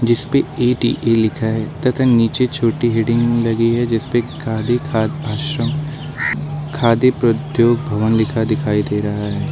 जिसपे ए_डी_ए लिखा है तथा नीचे छोटी हेडिंग लगी है जिसपे गांधी खाद्य आश्रम खादी पप्रद्योग भवन लिखा दिखाई दे रहा है।